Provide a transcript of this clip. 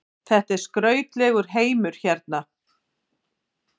Þetta er skrautlegur heimur hérna.